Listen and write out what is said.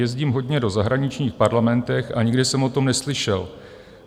Jezdím hodně do zahraničních parlamentů a nikdy jsem o tom neslyšel.